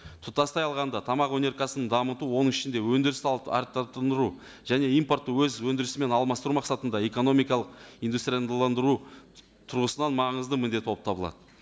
тұтастай алғанда тамақ өнеркәсібін дамыту оның ішінде өндіріс салт және импортты өз өндірісімен алмастыру мақсатында экономикалық тұрғысынан маңызды міндет болып табылады